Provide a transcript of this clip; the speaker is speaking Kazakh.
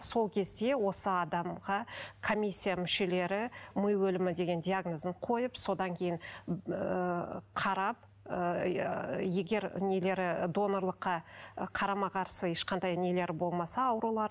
сол кезде осы адамға коммисия мүшелері ми өлімі деген диагнозын қойып содан кейін ыыы қарап ыыы егер нелері донорлыққа қарама қарсы ешқандай нелері болмаса аурулары